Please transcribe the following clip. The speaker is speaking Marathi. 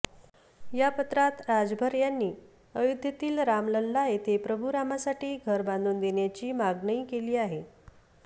या पत्रात राजभर यांनी अयोध्येतील रामलल्ला येथे प्रभू रामासाठी घर बांधून देण्याची मागणई केली आहे